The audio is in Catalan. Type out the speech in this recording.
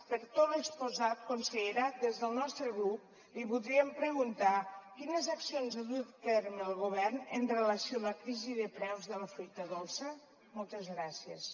per tot l’exposat consellera des del nostre grup li voldríem preguntar quines accions ha dut a terme el govern amb relació a la crisi de preus de la fruita dolça moltes gràcies